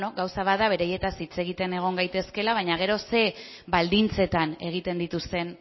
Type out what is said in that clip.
gauza bat da beraietaz hitz egiten egon gaitezkeela baina gero zein baldintzetan egiten dituzten